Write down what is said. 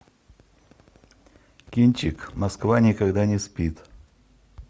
кинчик москва никогда не спит